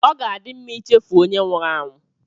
Ọ ga-adị mma ichefu onye nwụrụ anwụ